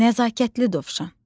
Nəzakətli dovşan.